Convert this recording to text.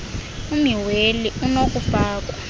ummi weli onokufakwa